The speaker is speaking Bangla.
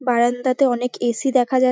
বারান্দাতে অনেক এ.সি. দেখা যায়।